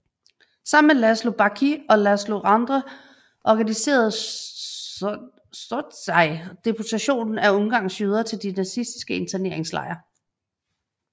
Sammen med László Baky og László Endre organiserede Sztójay deportationen af Ungarns jøder til de nazistiske interneringslejer